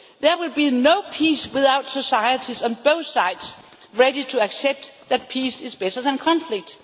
There will be no peace without societies on both sides ready to accept that peace is better than conflict.